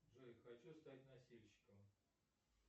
джой хочу стать носильщиком